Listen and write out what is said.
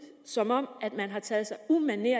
som om man har taget sig umanerlig